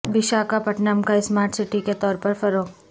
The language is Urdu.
وشاکھا پٹنم کا اسمارٹ سٹی کے طور پر فروغ